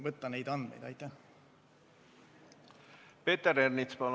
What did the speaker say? Peeter Ernits, palun!